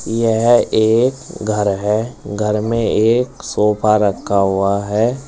यह एक घर है। घर में एक सोफा रखा हुआ है।